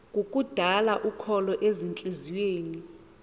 kukudala ukholo ezintliziyweni